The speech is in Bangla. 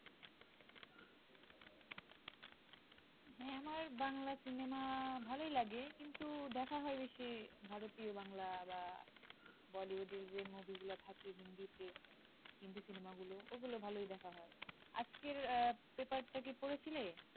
হ্যা আমার বাংলা সিনেমা ভালোই লাগে কিন্তু দেখা হয় বেশি ভারতীয় বাংলা বা Bolloywood যে movie গুলা থাকে হিন্দিতে হিন্দি সিনেমাগুলো ওগুলো ভালো দেখা হয় আজকের আহ paper টা কি পড়েছিলে?